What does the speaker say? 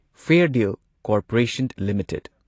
ꯐꯦꯔꯗꯤꯜ corporation limited